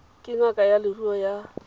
ke ngaka ya leruo ya